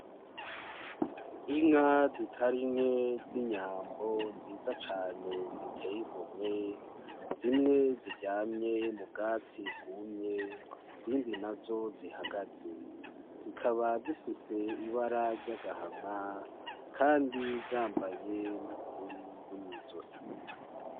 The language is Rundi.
Inka zitari nke z'inyambo nziza cane ziteye igomwe, zimwe ziryamye m'ubwatsi bwumye, izindi nazo zihagaze, zikaba zifise ibara ry'agahama kandi zambaye n'urugori gwo mwizosi.